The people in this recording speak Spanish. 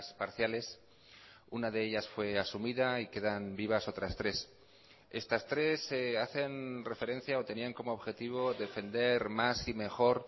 parciales una de ellas fue asumida y quedan vivas otras tres estas tres hacen referencia o tenían como objetivo defender más y mejor